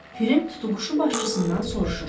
Pirim tutuquşu başçısından soruşur: